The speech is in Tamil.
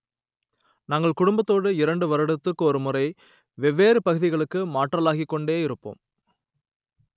நாங்கள் குடும்பத்தோடு இரண்டு வருடத்திற்கு ஒருமுறை வெவ்வேறு பகுதிகளுக்கு மாற்றலாகிக் கொண்டே இருப்போம்